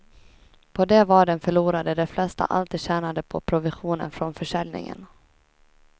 På de vaden förlorade de flesta allt de tjänade på provisionen från försäljningen.